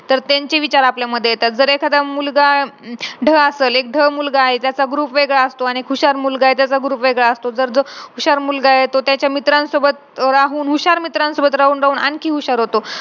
अ खूप deeply विचार करून विचार करून ते आत्महत्याचे विचार येतात आपल्या डोक्यामध्ये.